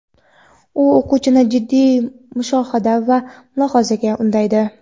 U o‘quvchini jiddiy mushohada va mulohazaga undaydi.